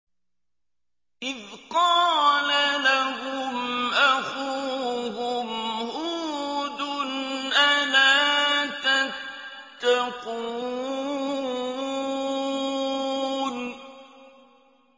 إِذْ قَالَ لَهُمْ أَخُوهُمْ هُودٌ أَلَا تَتَّقُونَ